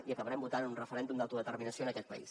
i acabarem votant un referèndum d’autodeterminació en aquest país